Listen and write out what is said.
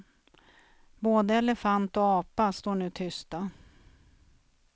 Både elefant och apa står nu tysta.